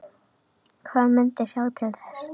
Hann myndi sjá til þess.